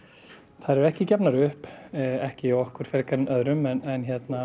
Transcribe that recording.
þær eru ekki gefnar upp ekki hjá okkur frekar en öðrum en